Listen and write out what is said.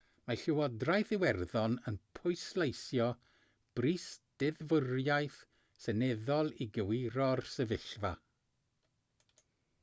mae llywodraeth iwerddon yn pwysleisio brys deddfwriaeth seneddol i gywiro'r sefyllfa